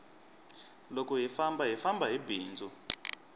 loko hi famba hi famba hi bindzu